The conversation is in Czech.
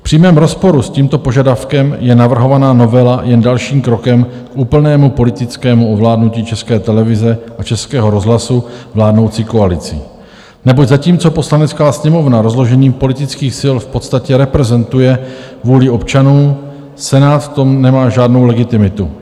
V přímém rozporu s tímto požadavkem je navrhovaná novela jen dalším krokem k úplnému politickému ovládnutí České televize a Českého rozhlasu vládnoucí koalicí, neboť zatímco Poslanecká sněmovna rozložením politických sil v podstatě reprezentuje vůli občanů, Senát v tom nemá žádnou legitimitu.